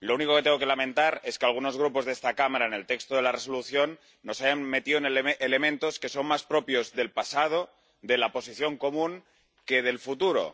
Lo único que tengo que lamentar es que algunos grupos de esta Cámara en el texto de la Resolución nos hayan metido elementos que son más propios del pasado, de la Posición Común, que del futuro.